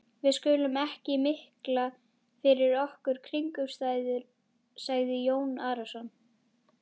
Við skulum ekki mikla fyrir okkur kringumstæður, sagði Jón Arason.